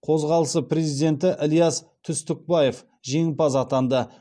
қозғалысы президенті ілияс түстікбаев жеңімпаз атанды